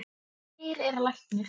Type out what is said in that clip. Eir er læknir